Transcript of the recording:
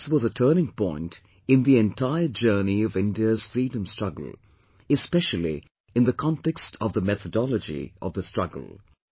This was a turning point in the entire journey of India's freedom struggle, especially in the context of the methodology of the struggle